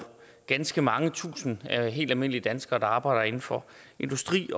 ganske mange tusinde helt almindelige danskere der arbejder inden for industri